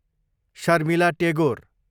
Sharmila Tagore